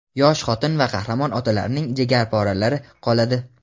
yosh xotin va qahramon otalarining jigarporalari qoladi.